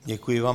Děkuji vám.